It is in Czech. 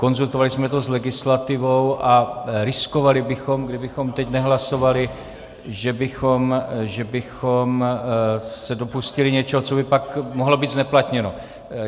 Konzultovali jsme to s legislativou a riskovali bychom, kdybychom teď nehlasovali, že bychom se dopustili něčeho, co by pak mohlo být zneplatněno.